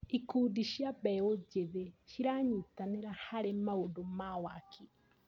Ikundi cia mbeũ njĩthĩ ciranyitanĩra harĩ maũndũ wa waki.